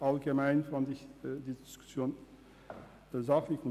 Allgemein empfand ich die Diskussion als sachlich.